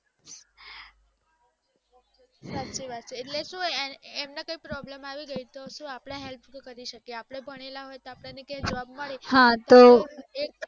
સાચી વાત છે એટલે સુ એમને કાય problem આવી ગય તો સુ અપડે help કરી શકીએ અપડે ભણેલા હોઈએ તો અપડે ને ક્યાય job મળી રે